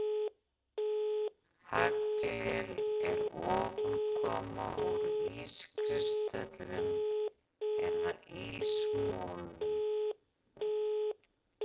Haglél er ofankoma úr ískristöllum eða ísmolum.